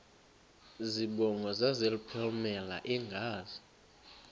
zibongo zazlphllmela engazi